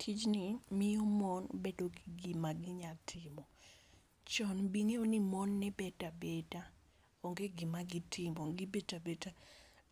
Tijn i miyo mon bedo gi gi ma gi nya timo, chon ing'eyo ni mon ne bet a beda onge gi ma gi timo gi bet abeda,